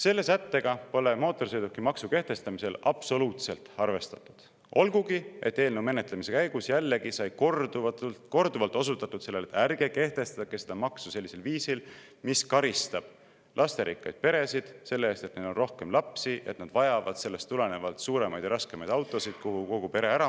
Selle sättega pole mootorsõidukimaksu kehtestamisel absoluutselt arvestatud, olgugi et eelnõu menetlemise käigus jällegi sai korduvalt osutatud sellele, et ärge kehtestage seda maksu sellisel viisil, mis karistab lasterikkaid peresid selle eest, et neil on rohkem lapsi, et nad vajavad sellest tulenevalt suuremaid ja raskemaid autosid, kuhu kogu pere ära mahuks.